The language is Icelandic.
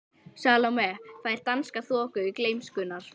Salóme fær að dansa í þoku gleymskunnar.